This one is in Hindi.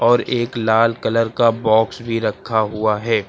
और एक लाल कलर का बॉक्स भी रखा हुआ है।